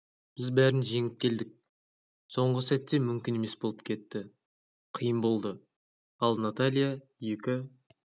біз бәрін жеңіп келдік соңғы сәтте мүмкін емес болып кетті қиын болды ал наталья екі